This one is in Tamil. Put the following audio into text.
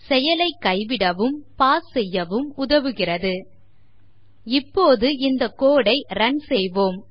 செயலை கைவிடவும் பாஸ் செய்யவும் உதவுகிறது அபோர்ட் இப்பொழுது இந்த code ஐ ரன் செய்வோம்